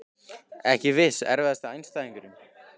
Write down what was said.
Ekki viss Erfiðasti andstæðingur?